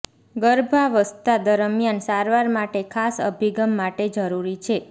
ગર્ભાવસ્થા દરમિયાન સારવાર માટે ખાસ અભિગમ માટે જરૂરી છે